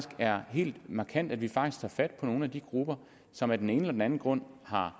er helt markant at vi faktisk tager fat på nogle af de grupper som af den ene eller den anden grund har